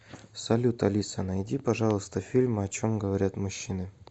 салют алиса найди пожалуйста фильм о чем говорят мужчины